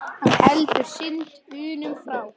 Hann heldur synd unum frá.